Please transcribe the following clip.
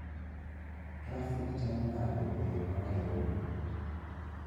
Trafik chalo nade e yo ma Nairobi